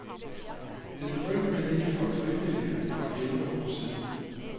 Det begyndte med en lille flok frivillige for elleve år siden.